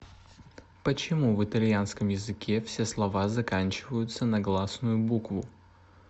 почему в итальянском языке все слова заканчиваются на гласную букву